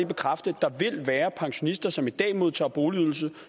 bekræfte at være pensionister som i dag modtager boligydelse